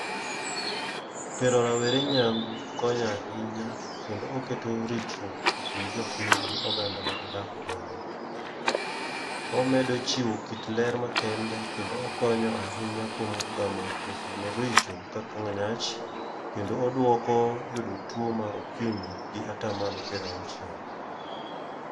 Tere rawere nyangu konya ahinya kendo oketo ritruok e kind jopiny gi oganda ma gidak godo. Omedo chiwo kit ler ma kende kendo ahinya kuom gamo tuoche maricho kaka nyach. Kendo odwoko yudo tuo mar okimi gi ata malo pirauchiel.